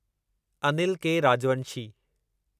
Anil K Rajvanshi